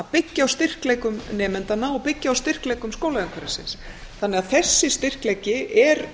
byggja á styrkleikum nemendanna og byggja á styrkleikum skólaumhverfisins þannig að þessi styrkleiki er